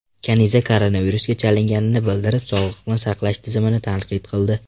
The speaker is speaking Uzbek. Kaniza koronavirusga chalinganini bildirib, sog‘liqni saqlash tizimini tanqid qildi .